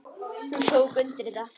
Hún tók undir þetta.